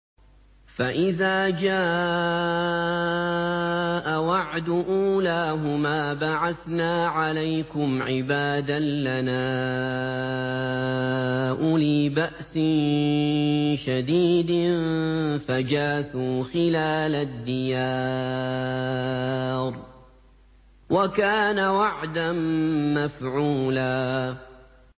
فَإِذَا جَاءَ وَعْدُ أُولَاهُمَا بَعَثْنَا عَلَيْكُمْ عِبَادًا لَّنَا أُولِي بَأْسٍ شَدِيدٍ فَجَاسُوا خِلَالَ الدِّيَارِ ۚ وَكَانَ وَعْدًا مَّفْعُولًا